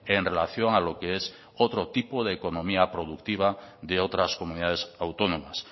en relación a lo que es otro tipo de economía productiva de otras comunidades autónomas